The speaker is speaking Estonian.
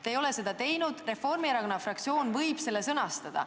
Teie ei ole seda teinud ja Reformierakonna fraktsioon võib selle nüüd korrektselt sõnastada.